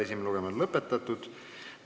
Esimene lugemine on lõpetatud.